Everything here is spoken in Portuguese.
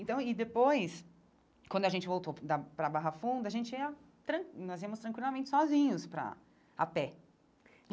Então, e depois, quando a gente voltou da para Barra Funda, a gente ia tran, nós íamos tranquilamente sozinhos para... a pé.